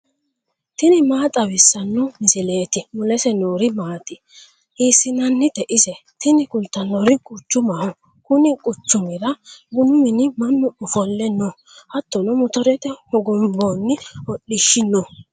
tini maa xawissanno misileeti ? mulese noori maati ? hiissinannite ise ? tini kultannori quchumaho. kunni quchumira bunu mine mannu ofolle no hattono motorete hogonboonni hodhishshi no.